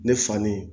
Ne fa ni